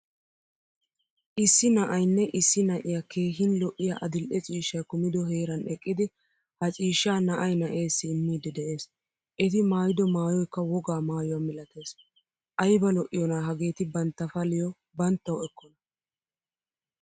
Issi na'aynne issi na'iyaa keehin lo'iyaa adil'ee ciishshay kumido heeran eqqidi ha ciishshaa na'aay na'esi immidi de'ees. Eti maayido maayoykka wogaa maayuwaa milatees. Ayba lo'iyona hagetti bantta paliyo banttawu ekkona.